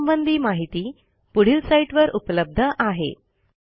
यासंबंधी माहिती पुढील साईटवर उपलब्ध आहे